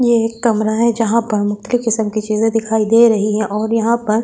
ये एक कमरा है जहां पर मुख्य किस्म की चीजें दिखाई दे रही हैं और यहां पर--